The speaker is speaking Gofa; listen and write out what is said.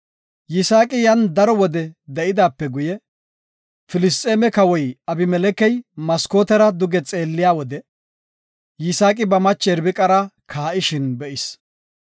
Yisaaqi yan daro wode de7idaape guye, Filisxeeme kawoy Abimelekey maskootera duge xeelliyade, Yisaaqi ba mache Irbiqara kaa7ishin be7is.